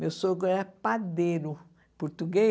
Meu sogro era padeiro português.